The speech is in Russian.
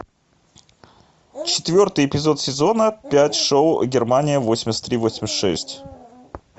четвертый эпизод сезона пять шоу германия восемьдесят три восемьдесят шесть